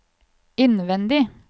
innvendig